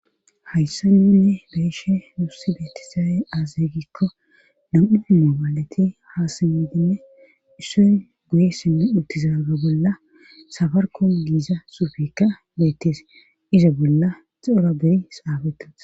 hayssa nuunne beeshe nuusi beetizaye aazey gikko dam7u hima maalati haasayotinne isson guyessinne uttizaaga bolla safarko giiza xuupeka beettese iza bolla cora beri saafetus